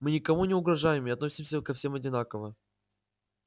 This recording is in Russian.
мы никому не угрожаем и относимся ко всем одинаково